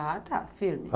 Ah, tá, firme.